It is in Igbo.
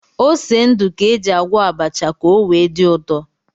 Ose ndụ ka éjị agwọ abacha ka o wee dị ụtọ